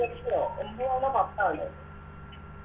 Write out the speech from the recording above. ഒമ്പതാണോ പത്താന്നോ